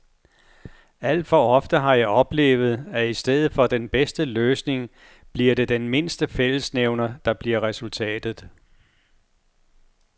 Alt for ofte har jeg oplevet, at i stedet for den bedste løsning bliver det den mindste fællesnævner, der bliver resultatet.